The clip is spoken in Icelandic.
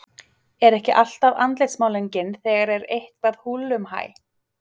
Er ekki alltaf andlitsmálning þegar er eitthvað húllumhæ?